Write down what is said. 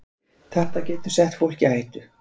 Þetta getur sett fólk í hættu